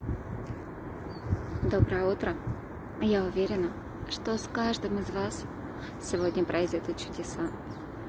доброе утро а я уверена что с каждым из вас сегодня произведу чудеса